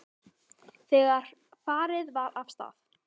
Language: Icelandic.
Þegar farið var af stað.